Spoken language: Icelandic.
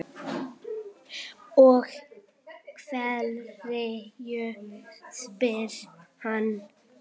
Og hverju? spyr hann.